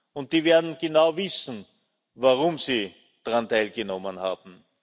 Und die werden genau wissen, warum sie daran teilgenommen haben.